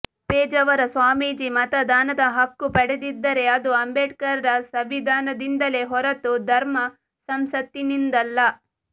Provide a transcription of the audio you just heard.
ಪೇಜಾವರ ಸ್ವಾಮೀಜಿ ಮತದಾನದ ಹಕ್ಕು ಪಡೆದಿದ್ದರೆ ಅದು ಅಂಬೇಡ್ಕರ್ರ ಸಂವಿಧಾನದಿಂದಲೇ ಹೊರತು ಧರ್ಮ ಸಂಸತ್ತಿನಿಂದಲ್ಲ